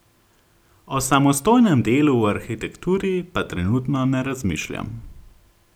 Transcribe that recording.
O samostojnem delu v arhitekturi pa trenutno ne razmišljam.